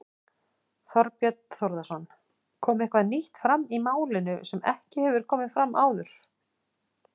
Þorbjörn Þórðarson: Kom eitthvað nýtt fram í málinu sem ekki hefur komið fram áður?